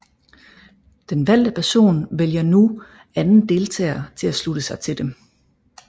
Den valgte person vælger nu anden deltager til at slutte sig til dem